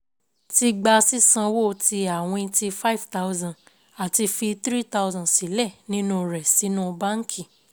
Ti gba sísanwó tí àwìn tí fiẹe thousand àti fi three thousand sílẹ̀ nínú rẹ̀ sínú báǹkì